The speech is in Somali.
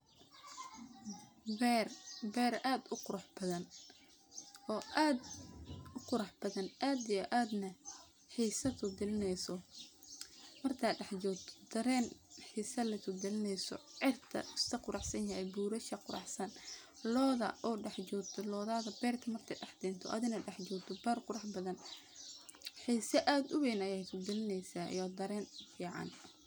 Ber , ber ad uqurux bathan oo ad u qurux bathan ad iyo ad na xiso ku galinineyso, marka dax jogto daren xisa leh kugalineyso, cirka uu iskaquruxsanyahy , burasha quraxsan loda oo dax jogto , lodadhaa berta marka dax kento adi naa dax jogto ber qurax bathan , xisa ad u weyn ayaay ku galineysaah iyo daren fican.